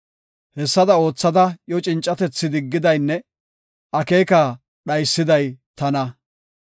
Hessada oothada iyo cincatethi diggidaynne akeeka dhaysiday tana.